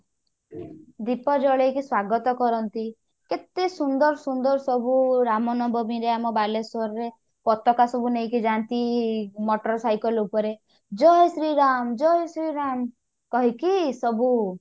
ଦୀପ ଜଳେଇକି ସ୍ଵାଗତ କରନ୍ତି କେତେ ସୁନ୍ଦର ସୁନ୍ଦର ସବୁ ରାମନବମୀ ରେ ଆମ ବାଲେଶ୍ଵର ରେ ପତାକା ସବୁ ନେଇକି ଯାଆନ୍ତି motor cycle ଉପରେ ଜୟ ଶ୍ରୀରାମ ଜୟ ଶ୍ରୀରାମ କହିକି ସବୁ